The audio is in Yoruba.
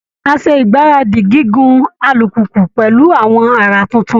Á ṣe ìgbáradì gígun alùpùpù pẹ̀lú àwọn àrà tuntun